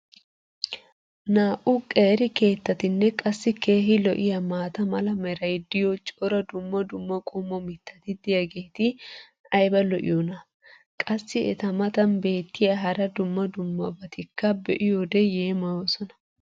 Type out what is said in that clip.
Naa"u qeeri keettatinne qassi keehi lo'iyaa maata mala meray diyo cora dumma dumma qommo mitati diyaageti ayba lo'iyoonaa? Qassi eta matan beetiya hara dumma dummabatikka be'iyoode yeemmoyoosona.